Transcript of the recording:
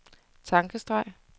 tankestreg